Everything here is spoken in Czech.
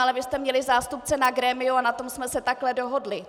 Ale vy jste měli zástupce na grémiu a na tom jsme se takto dohodli.